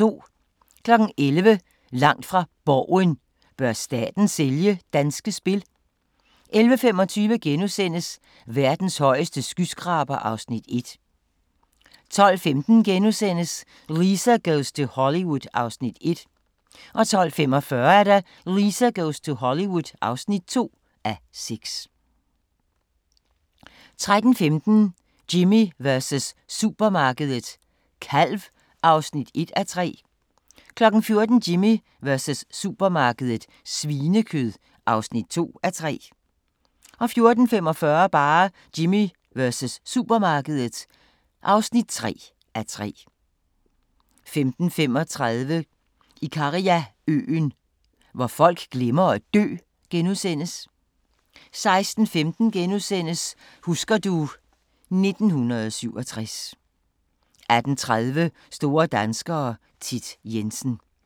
11:00: Langt fra Borgen: Bør staten sælge Danske Spil? 11:25: Verdens højeste skyskraber (Afs. 1)* 12:15: Lisa goes to Hollywood (1:6)* 12:45: Lisa goes to Hollywood (2:6) 13:15: Jimmy versus supermarkedet – kalv (1:3) 14:00: Jimmy versus supermarkedet - svinekød (2:3) 14:45: Jimmy versus supermarkedet (3:3) 15:35: Ikariaøen – hvor folk glemmer at dø * 16:15: Husker du ... 1967 * 18:30: Store danskere - Thit Jensen